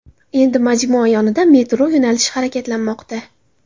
Endi majmua yonida metro yo‘nalishi harakatlanmoqda.